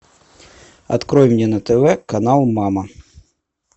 открой мне на тв канал мама